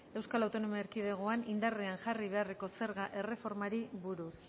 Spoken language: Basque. eaen indarrean jarri beharreko zerga erreformari buruz